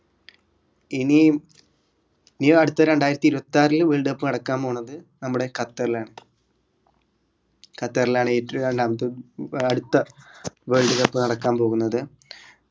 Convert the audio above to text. ഇനി ഈ അടുത്ത രണ്ടായിരത്തി ഇരുപത്തറിൽ world cup നടക്കാൻ പോണത് നമ്മുടെ ഖത്തറിലാണ് ഖത്തറിലാണ് രണ്ടാമത്തെ ഏർ അടുത്ത world cup നടക്കാൻ പോകുന്നത്